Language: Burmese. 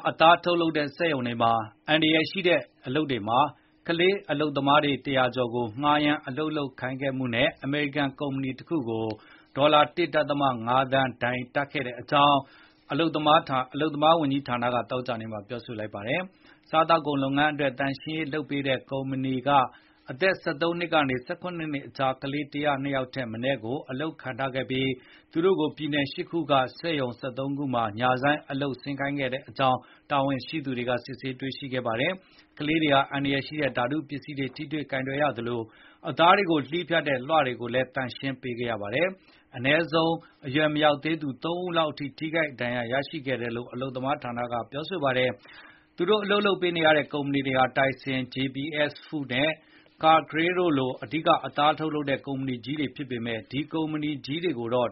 အသားထုတ်လုပ်တဲ့ စက်ရုံတွေက "အန္တရာယ်ကြီးတဲ့ လုပ်ငန်း" တွေမှာ ကလေးလုပ်သား ၁၀၀ ကျော်ကို ငှားရမ်း အလုပ်လုပ်ခိုင်းခဲ့မှုနဲ့ အမေရိကန်ကုမ္ပဏီ တခုကို ဒေါ်လာ ၁.၅ သန်း ဒဏ်ကြေးတပ်ခဲ့ကြောင်း အလုပ်သမားရေးဌာနက သောကြာနေ့မှာ ပြောလိုက်ပါတယ်။ စားသောက်ကုန် လုပ်ငန်းအတွက် သန့်ရှင်းရေးလုပ်ပေးတဲ့ ကုမ္ပဏီ Packers Sanitation Services ဟာ အသက် ၁၃ နှစ် ကနေ ၁၇ နှစ်ကြား ကလေး ၁၀၂ ယောက် ထက်မနည်းကို အလုပ်ခန့်ထားပြီး သူတို့ကို ပြည်နယ် ၈ ခု က စက်ရုံ ၁၃ ရုံမှာ ညဆိုင်းအလုပ် ဆင်းခိုင်းခဲ့ကြောင်း တာဝန်ရှိသူတွေကို စစ်ဆေးတွေ့ရှိခဲ့ပါတယ်။ ကလေးတွေဟာ အန္တရာယ်ရှိတဲ့ ဓာတုပစ္စည်းတွေ ထိတွေ့ကိုင်တွယ်ရသလို အသားတွေကို သန့်ရှင်းရေးလုပ်ရာမှာ သုံးတဲ့ 'လွှ'လို အကြီးစား ကိရိယာတွေကို သုံးပြီးလည်း အလုပ်လုပ်ခဲ့ရပါတယ်။ အဲဒီလို အလုပ် လုပ်နေရင်း အရွယ်မရောက်သေးသူ ၃ ဦးထက်မနည်းဟာ ထိခိုက်ဒဏ်ရာ ရရှိခဲ့တယ်လို့ ဆိုပါတယ်။ သူတို့ကို အလုပ်ခိုင်းခဲ့တဲ့ ကန်ထရိုက်တာက Tyson ၊ JBS Foods နဲ့ Cargill လို့ အဓိက အသားထုတ်လုပ်တဲ့ ကုမ္ပဏီတွေအတွက် အလုပ် လုပ်ပေးနေတာကို စုံစမ်းစစ်ဆေး တွေ့ရှိရပေမယ့် အဲဒီ ကုမ္ပဏီကြီးတွေကိုတော့